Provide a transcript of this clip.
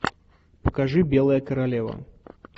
покажи белая королева